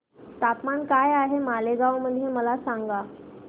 तापमान काय आहे मालेगाव मध्ये मला सांगा